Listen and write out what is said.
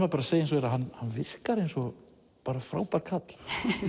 að segja eins og er að hann virkar eins og frábær karl